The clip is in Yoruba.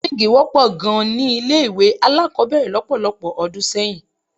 Súwíǹgì wọ́pọ̀ gan-an ni ilé-ìwé alákọ̀ọ́bẹ̀rẹ̀ lọ́pọ̀lọpọ̀ ọdún sẹ́yìn.